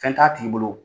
Fɛn t'a tigi bolo